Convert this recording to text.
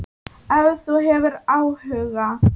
Ef þú hefur áhuga.